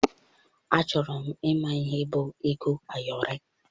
Achọrọ m ịma ihe bụ ego ayọrị.